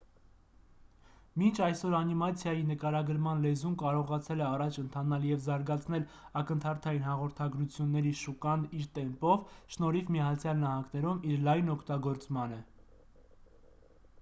մինչ այսօր անիմացիայի նկարագրման լեզուն կարողացել է առաջ ընթանալ և զարգացնել ակնթարթային հաղորդագրությունների շուկան իր տեմպով շնորհիվ միացյալ նահանգներում իր լայն օգտագործմանը